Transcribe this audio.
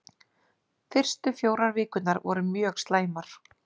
Fyrstu fjórar vikurnar voru mjög slæmar.